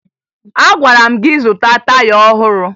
Agwara m gị zụta taya ọhụrụ!